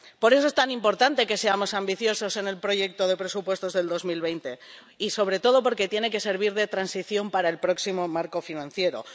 Por eso es tan importante que seamos ambiciosos en el proyecto de presupuesto de 2020 y, sobre todo, porque tiene que servir de transición para el próximo marco financiero.